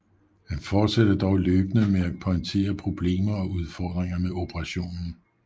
Han forsatte dog løbende med at pointere problemer og udfordringer med operationen